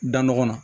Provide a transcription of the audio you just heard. Da nɔgɔ kɔnɔ